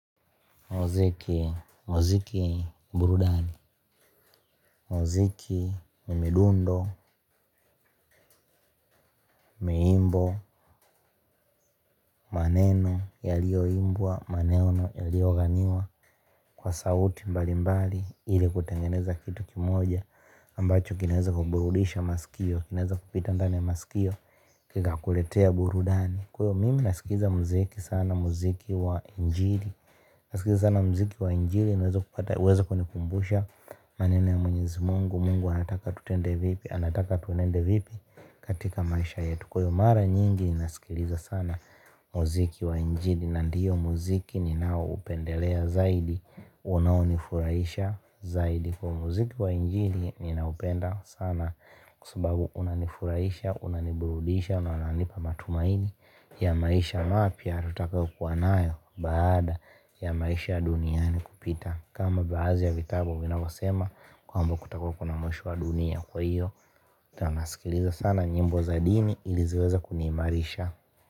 Muziki burudani muziki ni midundo, nyimbo, maneno yaliyoimbwa maneno yaliyoganiwa kwa sauti mbalimbali ili kutengeneza kitu moja ambacho kinaweza kuburudisha masikio, kinaweza kupita ndani ya masikio kikakuletea burudani kwa hiyo mimi nasikiza mziki sana mziki wa injili nasikiza sana mziki wa injili niweze kunikumbusha maneno ya mwenyezi mungu Mungu anataka tutende vipi, anataka tunende vipi katika maisha yetu. Kuyo mara nyingi inasikiliza sana muziki wa njini. Nandiyo muziki ni nao upendelea zaidi unaonifurahisha zaidi kwa hiyo muziki wa injili ninaupenda sana kwa sababu unanifurahisha, unaniburudisha, unananipa matumaini ya maisha mapya, tutakayokuwa nayo baada ya maisha ya duniani kupita kama baadhi ya vitabu vinavyosema kwamba kutakuwa kuna mwisho wa dunia kwa hiyo ndo nasikiliza sana nyimbo za dini ili ziweze kuniimarisha.